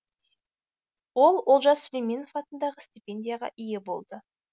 ол олжас сүлейменов атындағы стипендияға ие болды